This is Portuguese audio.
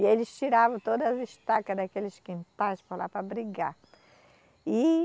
E eles tiravam todas as estacas daqueles quintais para lá para brigar. e